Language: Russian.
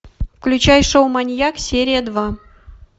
включай шоу маньяк серия два